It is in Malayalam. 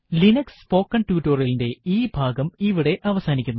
ലിനക്സ് സ്പോക്കണ് ടുട്ടോറിയലിന്റെ ഈ ഭാഗം ഇവിടെ അവസാനിക്കുന്നു